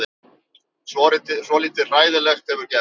Svolítið hræðilegt hefur gerst.